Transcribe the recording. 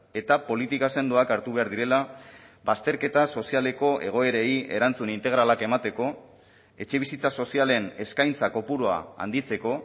eta politika sendoak hartu behar direla bazterketa sozialeko egoerei erantzun integralak emateko etxebizitza sozialen eskaintza kopurua handitzeko